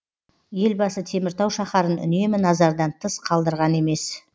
елбасы теміртау шаһарын үнемі назардан тыс қалдырған емес